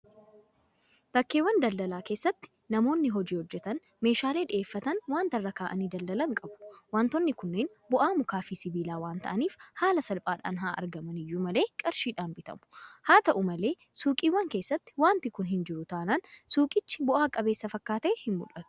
Bakkeewwan daldalaa keessatti namoonni hojii hojjetan meeshaalee dhiyeeffatan waanta irra kaa'anii daldalan qabu. Waantonni kunneen bu'aa mukaafi sibiilaa waanta ta'aniif haala salphaadhaan haa'argaman iyyuu malee qarshiidhaan bitamu. Haata'u malee suuqiiwwan keessatti waanti kun hinjiru taanaan suuqichi bu'a qabeessa fakkaatee hinmul'atu.